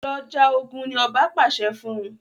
Lọ já ògún! ní oba pàṣẹ fún.